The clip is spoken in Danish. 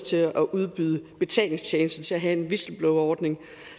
til at udbyde betalingstjenester til at have en whistleblowerordning